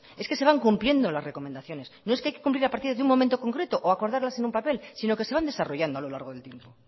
señor es que se van cumpliendo las recomendaciones no es que hay que cumplirlas a partir de un momento concreto o acordarlas en un papel sino que se van desarrollando a lo largo del tiempo